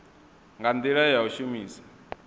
nga ndila ya u shumisa